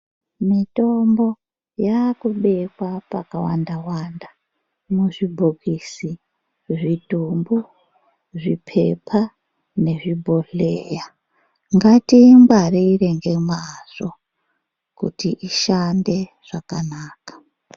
Mitombo yaku bekwa paka wanda wanda muzvi bhokisi zvidhumbu zvipepa nezvi bhohleya ngati ingwarire nge mazvo kuti ishande zvakanaka.